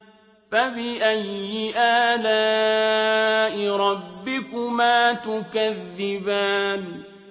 فَبِأَيِّ آلَاءِ رَبِّكُمَا تُكَذِّبَانِ